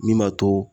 Min b'a to